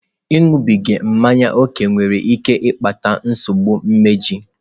Ịṅụbiga mmanya ókè nwere ike ịkpata nsogbu imeju.